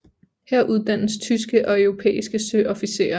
Her uddannes tyske og europæiske søofficerer